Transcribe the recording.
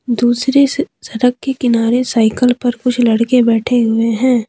दूसरे सड़ सड़क के किनारे साइकल पर कुछ लड़के बैठे हुए है।